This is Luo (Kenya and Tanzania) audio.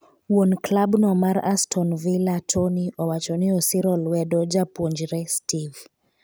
wuon klab no mar aston villa Tony owacho ni osiro lwedo japuonjre steve